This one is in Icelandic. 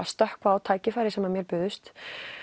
stökkva á tækifæri sem mér buðust